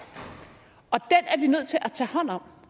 nødt til at tage hånd om